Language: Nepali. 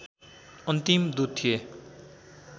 अन्तिम दूत थिए